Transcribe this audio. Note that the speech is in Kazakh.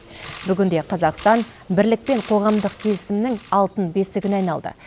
бүгінде қазақстан бірлік пен қоғамдық келісімнің алтын бесігіне айналды